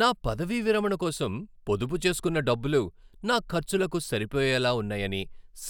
నా పదవీ విరమణ కోసం పొదుపు చేస్కున్న డబ్బులు నా ఖర్చులకు సరిపోయేలా ఉన్నాయని